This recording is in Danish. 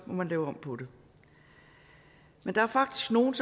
må man lave om på det men der er faktisk nogle